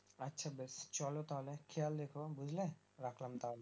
আচ্ছা বেশ চলো তাহলে খেয়াল রেখো বুঝলে রাখলাম তাহলে